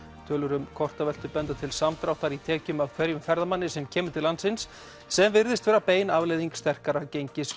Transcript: tölur um kortaveltu benda til samdráttar í tekjum af hverjum ferðamanni sem kemur til landsins sem virðist vera bein afleiðing sterkara gengis